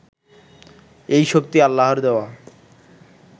এই শক্তি আল্লাহর দেওয়া